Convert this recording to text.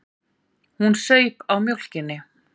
Hún saup á mjólkinni.